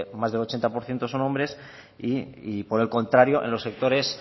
más del ochenta por ciento son hombres y por el contrario en los sectores